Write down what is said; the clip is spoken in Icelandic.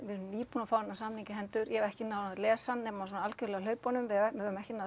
nýbúin að fá þennan samning í hendur ég hef ekki náð að lesa hann nema svona algjörlega á hlaupunum við höfum ekki náð